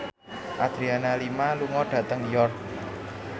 Adriana Lima lunga dhateng York